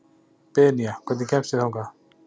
Benía, hvernig kemst ég þangað?